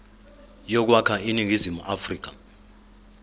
yokwakha iningizimu afrika